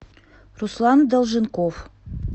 руслан долженков